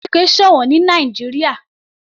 Ilé oníke sọ̀wọ́n ní Nàìjíríà.